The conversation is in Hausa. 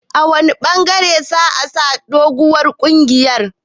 A wanne ɓangaren sa'a sa doguwar kungiyar?